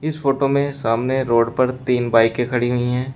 इस फोटो में सामने रोड पर तीन बाईके के खड़ी हुई है।